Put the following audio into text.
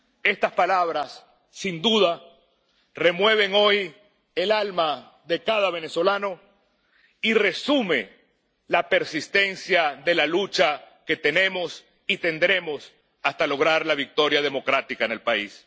Estas palabras, sin duda, remueven hoy el alma de cada venezolano y resumen la persistencia de la lucha que tenemos y tendremos hasta lograr la victoria democrática en el país.